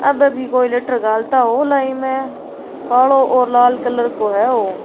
अभी भी कोई लेटर घालता हुला इम कालो और लाल कलर को है ओ।